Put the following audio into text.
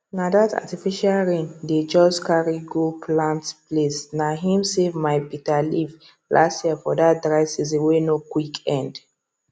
na that artificial rain dey just carry go plant placena him save my bitter leaf last yearfor that dry season wey no quick end